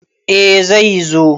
Eh zai zo.